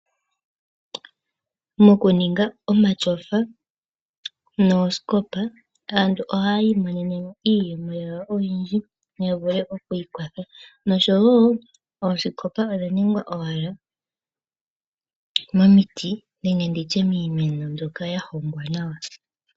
Mokuninga omatyofa noosikopa aantu oha yi imonenemo iiyemo yawo oyindji ya vule okwiikwatha noshowo oosikopa odha ningwa owala momiti nenge nditye miimeno mbyoka ya hongwa nawa.